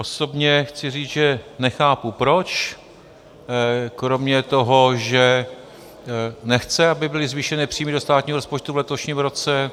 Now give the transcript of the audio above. Osobně chci říct, že nechápu proč, kromě toho, že nechce, aby byly zvýšeny příjmy do státního rozpočtu v letošním roce.